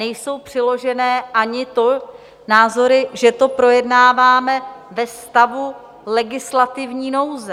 Nejsou přiložené ani názory, že to projednáváme ve stavu legislativní nouze.